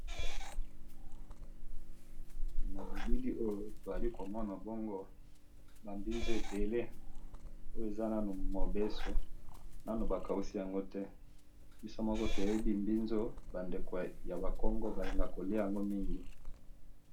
Na bilili oyo tozali ko mona bongo ba mbinzo ebele oyo eza nanu mobesu nanu bakausi yango te biso moko toyebi mbinzo bandeko ya ba kongo balingaka kolia'ango mingi